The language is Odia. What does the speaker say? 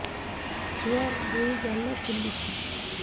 ଛୁଆର୍ ଦୁଇ ଗାଲ ଫୁଲିଚି